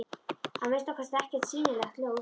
Að minnsta kosti ekkert sýnilegt ljós.